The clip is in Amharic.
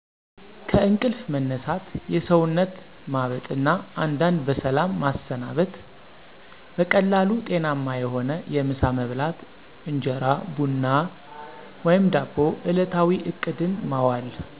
ከእንቅልፍ መነሳት፣ የሰውነት ማጠብ እና አንዳንድ በሰላም ማሰናበት። በቀላሉ ጤናማ የሆነ የምሳ መብላት (እንጀራ፣ ቡና ወፈ ዳቦ) እለታዊ እቅድን ማዋል